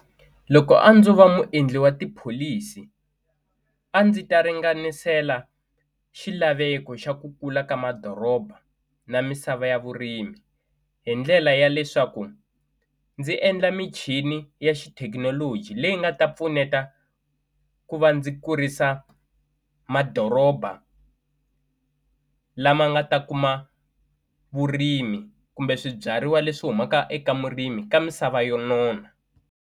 Loko a ndzo va muendli wa tipholisi a ndzi ta ringanisela xilaveko xa ku kula ka madoroba na misava ya vurimi hi ndlela ya leswaku ndzi endla michini ya xithekinoloji leyi nga ta pfuneta ku va ndzi kurisa madoroba lama nga ta kuma vurimi kumbe swibyariwa leswi humaka eka murimi ka misava yo nona.